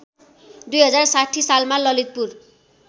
२०६० सालमा ललितपुर